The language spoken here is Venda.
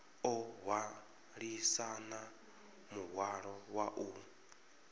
o hwalisana muhwalo wa u